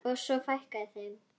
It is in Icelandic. Og svo fækkaði þeim.